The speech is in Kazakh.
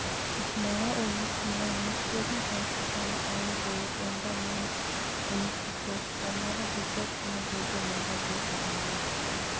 жылы ақмола облысында немістердің жалпы саны ауыл болып онда неміс өмір сүрді аумағы десятина жерде мыңға жуық адам